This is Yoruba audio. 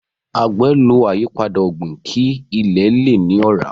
agbe ló ayipada ogbin kí ile lẹ ní ora.